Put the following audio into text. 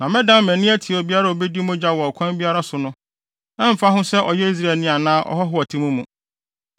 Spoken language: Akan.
“ ‘Na mɛdan mʼani atia obiara a obedi mogya wɔ ɔkwan biara so no; ɛmfa ho sɛ ɔyɛ Israelni anaa ɔhɔho a ɔte mo mu.